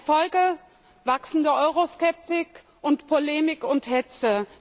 Die Folge Wachsende Euroskepsis und Polemik und Hetze.